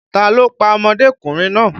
Ta ló pa ọmọdékùnrin náà?